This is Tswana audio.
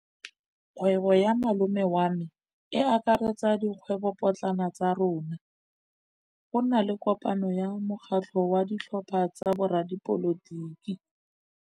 Kgwêbô ya malome wa me e akaretsa dikgwêbôpotlana tsa rona. Go na le kopanô ya mokgatlhô wa ditlhopha tsa boradipolotiki.